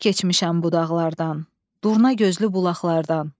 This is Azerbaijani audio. Çox keçmişəm bulaqlardan, durnagözlü bulaqlardan.